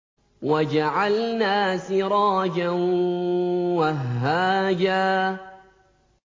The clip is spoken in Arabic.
وَجَعَلْنَا سِرَاجًا وَهَّاجًا